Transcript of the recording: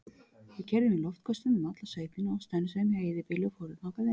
Við keyrðum í loftköstum um alla sveitina og stönsuðum hjá eyðibýli og fórum þangað inn.